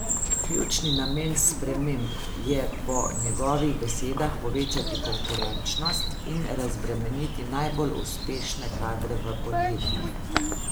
Ključni namen sprememb je po njegovih besedah povečati konkurenčnost in razbremeniti najbolj uspešne kadre v podjetjih.